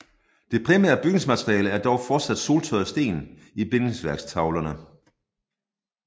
Det primære bygningsmateriale er dog fortsat soltørrede sten i bindingsværktavlene